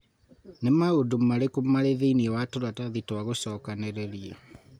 Nĩ maũndũ marĩkũ marĩ thĩinĩ wa tũratathi twa gucokanĩrĩria